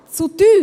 Zu teuer: